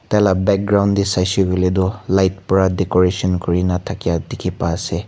Taila background dae saishe koile toh light pra decoration kurina thakya dekhi pa ase.